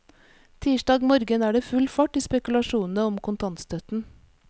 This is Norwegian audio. Tirsdag morgen er det full fart i spekulasjonene om kontantstøtten.